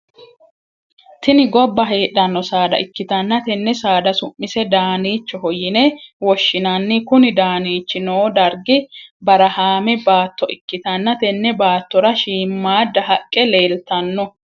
Tinni Gobba heedhano saada ikitanna tenne saada su'mise daaniichoho yinne woshinnanni kunni daniichi noo dargi barahaame baatto ikitanna tenne baattora shiimamaada haqe leeltano.